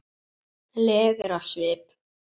legur á svip.